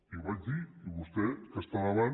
i ho vaig dir i vostè que està davant